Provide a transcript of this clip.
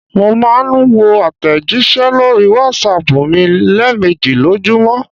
Mò n máa n wo àtẹ̀jísẹ́ lórí Wásaàpù mi léèmejì lójúmọ̀